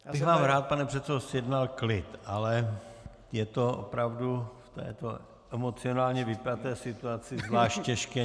Já bych vám rád, pane předsedo, zjednal klid, ale je to opravdu v této emocionálně vypjaté situaci zvlášť těžké.